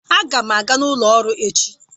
Aga m aga ụlọ ọrụ echi.